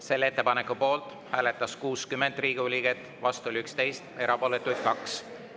Selle ettepaneku poolt hääletas 60 Riigikogu liiget, vastu oli 11, erapooletuid 2.